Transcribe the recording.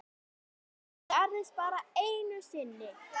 Það gerðist bara einu sinni.